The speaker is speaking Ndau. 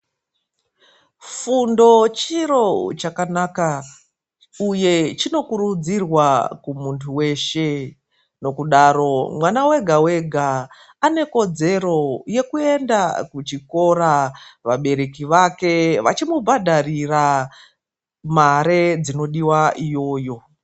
Fundo chiro chakanaka uye chinokurudzirwa kumunthu weshe. Nokudaro mwana wega wega ane kodzero yekuenda kuchikora, vabereki vake vechimubhadharira mare dzinodiwa iyoyo.